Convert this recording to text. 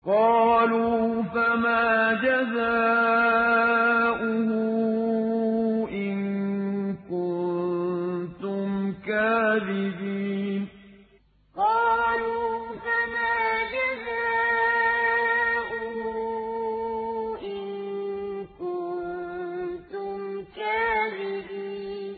قَالُوا فَمَا جَزَاؤُهُ إِن كُنتُمْ كَاذِبِينَ قَالُوا فَمَا جَزَاؤُهُ إِن كُنتُمْ كَاذِبِينَ